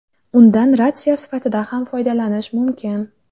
Undan ratsiya sifatida ham foydalanish mumkin.